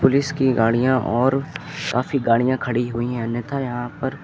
इसकी गाड़ियां और काफी गाड़ियां खड़ी हुई हैं अन्यथा यहां पर--